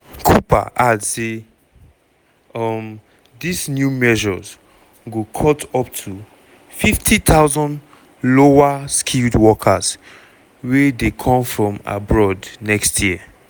cooper add say um dis new measures go cut up to 50000 lower-skilled workers wey dey come from abroad next year.